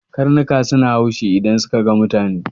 Karnuka suna haushi idan suka ga mutane.